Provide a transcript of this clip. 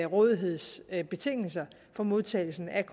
rådighedsbetingelser for modtagelsen af